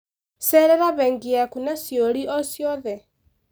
Cererc bengi yaku nĩ ciũri o ciothe.